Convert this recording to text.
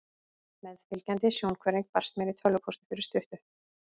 Meðfylgjandi sjónhverfing barst mér í tölvupósti fyrir stuttu.